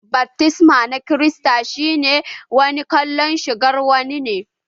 Baftisma na kirista shi ma wani kallan shirgar wa ne.